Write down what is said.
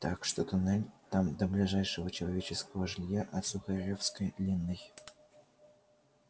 так что туннель там до ближайшего человеческого жилья от сухаревской длинный